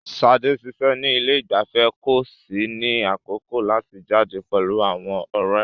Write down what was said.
Sade ń ṣiṣẹ́ ní ilé ìgbafẹ́ kò sì ní àkókò láti jáde pẹ̀lú àwọn ọ̀rẹ́.